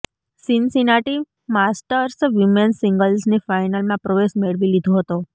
Cincinnati Masters women's સિંગલ્સની ફાઈનલમાં પ્રવેશ મેળવી લીધો હતો